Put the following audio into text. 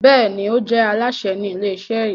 Béèni o je Alásè Ni ilé iṣẹ yí.